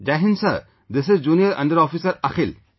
Jai Hind Sir, this is Junior under Officer Akhil